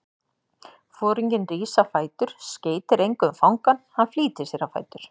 Foringinn rís á fætur, skeytir engu um fangann, hann flýtir sér á fætur.